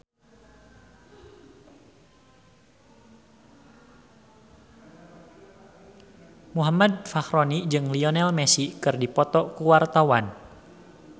Muhammad Fachroni jeung Lionel Messi keur dipoto ku wartawan